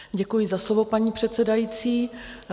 Děkuji za slovo, paní předsedající.